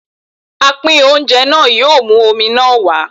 Apín oúnjẹ náà yóò mú omi náà wá.